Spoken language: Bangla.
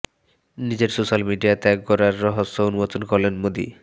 নিজের সোশ্যাল মিডিয়া ত্যাগ করার রহস্য উন্মোচন করলেন মোদী